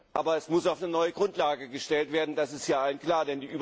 Aber es muss auf eine neue Grundlage gestellt werden, das ist hier allen klar.